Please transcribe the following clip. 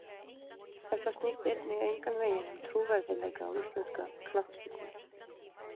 Þetta snýst einnig engan veginn um trúverðugleika á íslenska knattspyrnu.